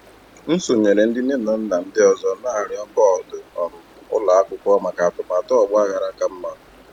M sonyeere ndị nne na nna ndị ọzọ na-arịọ bọọdụ um ụlọ akwụkwọ maka atụmatụ ọgbaghara ka mma.